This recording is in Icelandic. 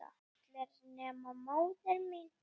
allir nema móðir mín